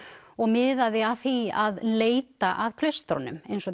og miðaði að því að leita að klaustrunum eins og